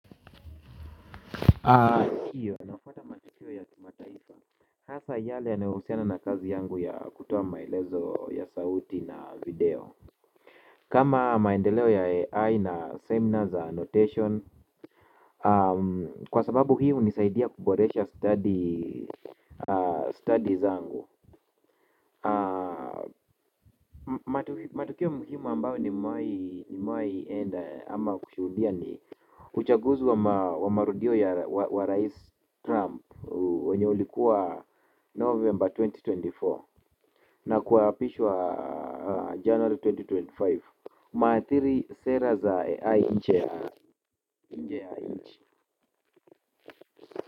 Ndiyo nafuata matukio ya kimataifa hasa yale yanayohusiana na kazi yangu ya kutoa maelezo ya sauti na video. Kama maendeleo ya AI na seminar za annotation kwa sababu hii hunisaidia kuboresha stadi stadi zangu. Matukio muhimu ambayo nimewahi enda ama kushudia ni uchaguzi wa marudio ya wa rais trump wenye ulikuwa november elfu mbili na ishirini na nne na kuapishwa January elfu mbili na ishirini na tano umeathiri sera za AI nje ya nje ya nchi.